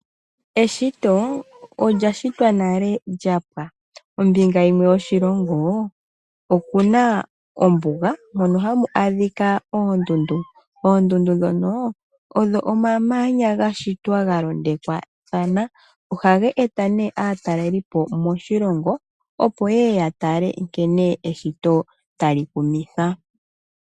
Eshito lyapwa nale kombinga yimwe yoshilongo okuna ombuga mono hamu adhika oondundu. Oondundu ndhono omamanya gashitwa ga londathana. Ohaga eta aatalelipo moshilongo, opo yeye ya tale nkene eshito tali kumitha.